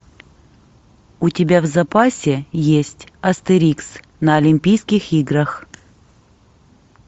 у тебя в запасе есть астерикс на олимпийских играх